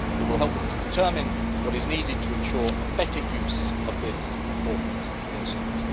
It will help us to determine what is needed to ensure a better use of this important instrument.